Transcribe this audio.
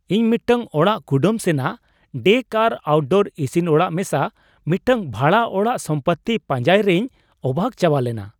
ᱤᱧ ᱢᱤᱫᱴᱟᱝ ᱚᱲᱟᱜ ᱠᱩᱰᱟᱹᱢ ᱥᱮᱱᱟᱜ ᱰᱮᱠ ᱟᱨ ᱟᱣᱩᱴᱰᱳᱨ ᱤᱥᱤᱱ ᱚᱲᱟᱜ ᱢᱮᱥᱟ ᱢᱤᱫᱴᱟᱝ ᱵᱷᱟᱲᱟ ᱚᱲᱟᱜ ᱥᱚᱢᱯᱚᱛᱛᱤ ᱯᱟᱸᱡᱟᱭᱨᱮᱧ ᱚᱵᱟᱠ ᱪᱟᱵᱟᱞᱮᱱᱟ ᱾